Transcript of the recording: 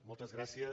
moltes gràcies